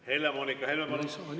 Helle-Moonika Helme, palun!